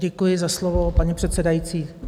Děkuji za slovo, paní předsedající.